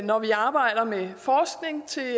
når vi arbejder med forskning til